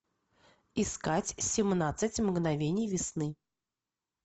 искать семнадцать мгновений весны